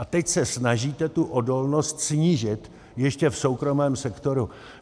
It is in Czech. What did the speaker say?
A teď se snažíte tu odolnost snížit ještě v soukromém sektoru.